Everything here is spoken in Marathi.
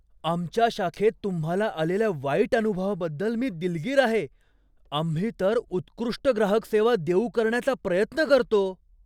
आमच्या शाखेत तुम्हाला आलेल्या वाईट अनुभवाबद्दल मी दिलगीर आहे. आम्ही तर उत्कृष्ट ग्राहक सेवा देऊ करण्याचा प्रयत्न करतो.